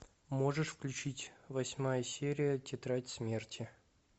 можешь включить восьмая серия тетрадь смерти